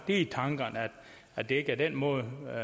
i tankerne at det er den måde man